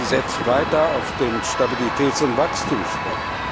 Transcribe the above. Sie setzt weiter auf den Stabilitäts und Wachstumspakt.